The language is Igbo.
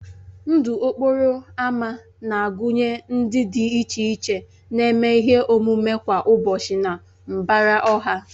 Ndụ okporo ámá na-agụnye ndị dị iche iche na-eme ihe omume kwa ụbọchị na mbara ọha